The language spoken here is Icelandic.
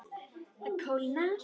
Það kólnar.